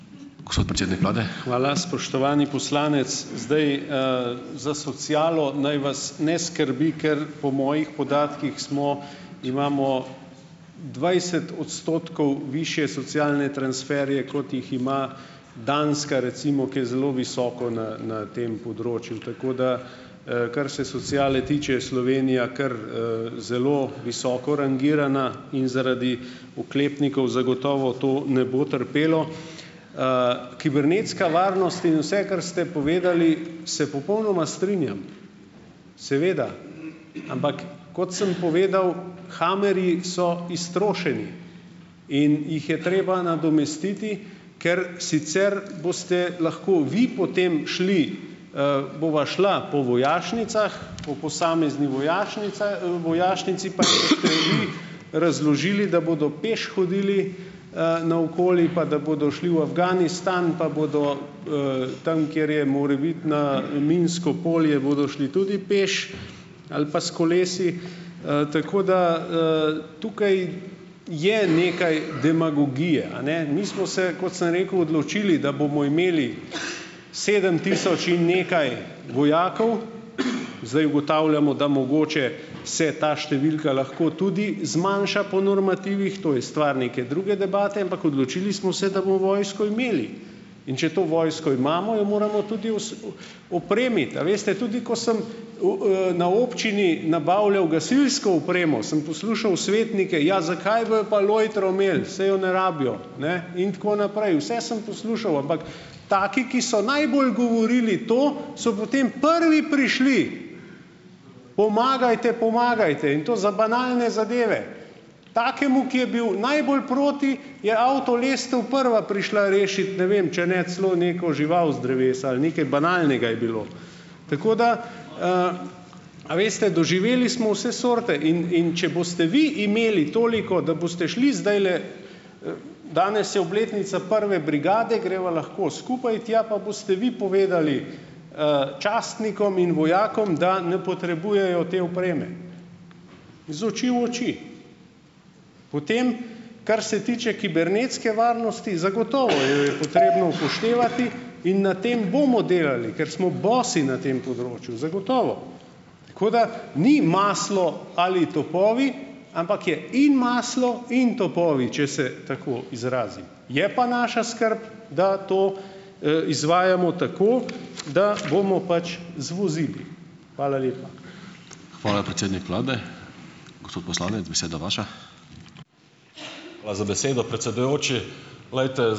Hvala. Spoštovani poslanec, zdaj, - za socialo naj vas ne skrbi, ker po mojih podatkih smo - imamo dvajset odstotkov višje socialne transferje, kot jih ima Danska, recimo, ki je zelo visoko na na tem področju. Tako da, kar se sociale tiče, je Slovenija kar, zelo visoko rangirana. In zaradi oklepnikov zagotovo to ne bo trpelo. kibernetska varnost in vse, kar ste povedali - se popolnoma strinjam. Seveda. Ampak, kot sem povedal, hummerji so iztrošeni. In jih je treba nadomestiti, ker sicer boste lahko vi potem šli, bova šla po vojašnicah, po posamezni vojašnici, pa jim boste vi razložili, da bodo peš hodili, naokoli, pa da bodo šli v Afganistan pa bodo, tam, kjer je morebitno minsko polje bodo šli tudi peš ali pa s kolesi. tako da, tukaj je nekaj demagogije, a ne. Mi smo se, kot sem rekel, odločili, da bomo imeli sedem tisoč in nekaj vojakov, zdaj ugotavljamo, da mogoče se ta številka lahko tudi zmanjša po normativih, to je stvar neke druge debate, ampak odločili smo se, da bomo vojsko imeli. In če to vojsko imamo, jo moramo tudi os opremiti. A veste, tudi ko sem, na občini nabavljal gasilsko opremo, sem poslušal svetnike, ja, zakaj bojo pa lojtro imeli, saj jo ne rabijo, ne, in tako naprej. Vse sem poslušal, ampak taki, ki so najbolj govorili to, so potem prvi prišli, pomagajte, pomagajte, in to za banalne zadeve. Takemu, ki je bil najbolj proti, je avtolestev prva prišla rešit, ne vem, če ne celo neko žival z drevesa, ali nekaj banalnega je bilo. Tako da, A veste, doživeli smo vse sorte. In in če boste vi imeli toliko, da boste šli zdajle, danes je obletnica prve brigade, greva lahko skupaj tja, pa boste vi povedali, častnikom in vojakom, da ne potrebujejo te opreme iz oči v oči. Potem kar se tiče kibernetske varnosti, zagotovo jo je potrebno upoštevati in na tem bomo delali, ker smo bosi na tem področju, zagotovo. Tako da, ni maslo ali topovi, ampak je in maslo in topovi, če se tako izrazim. Je pa naša skrb, da to, izvajamo tako, da bomo pač zvozili. Hvala lepa.